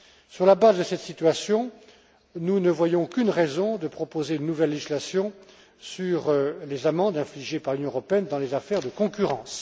Sur la base de cette situation, nous ne voyons aucune raison de proposer une nouvelle législation sur les amendes infligées par l'Union européenne dans les affaires de concurrence.